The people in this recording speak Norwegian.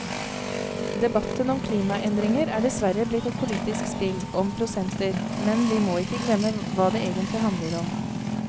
Debatten om klimaendringer er dessverre blitt et politisk spill om prosenter, men vi må ikke glemme hva det egentlig handler om.